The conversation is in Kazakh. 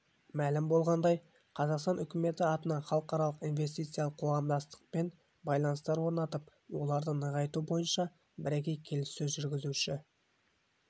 мәлім болғандай қазақстан үкіметі атынан халықаралық инвестициялық қоғамдастықпен байланыстар орнатып оларды нығайту бойынша бірегей келіссөз жүргізуші